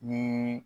Ni